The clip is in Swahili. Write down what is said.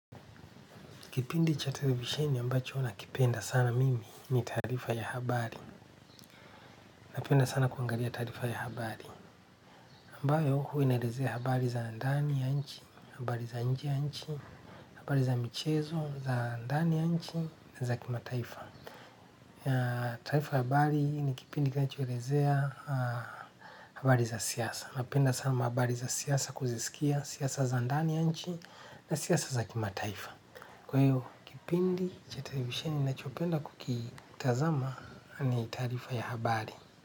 Kipindi cha televisheni ambacho na kipenda sana mimi ni taarifa ya habari. Napenda sana kuangalia taarifa ya habari. Ambayo huwa inaelezea habari za ndani ya nchi, habari za nje ya nchi, habari za michezo, za ndani ya nchi, na za kimataifa. Taifa ya habari ni kipindi kinachoelezea habari za siasa. Napenda sana habari za siasa kuzisikia, siasa za ndani ya nchi, na siasa za kimataifa. Kwa hiyoo kipindi cha televisheni nachopenda kukitazama ni taarifa ya habari.